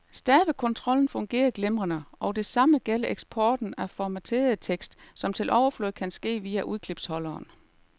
Stavekontrollen fungerer glimrende, og det samme gælder eksporten af formateret tekst, som til overflod kan ske via udklipsholderen.